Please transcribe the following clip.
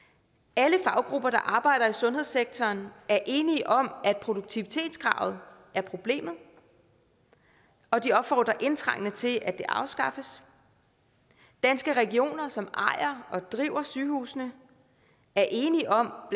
alle faggrupper der arbejder i sundhedssektoren er enige om at produktivitetskravet er problemet og de opfordrer indtrængende til at det bliver afskaffet danske regioner som ejer og driver sygehusene er enige om